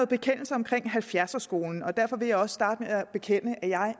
bekendelser omkring halvfjerdserskolen derfor vil jeg også starte med at bekende at jeg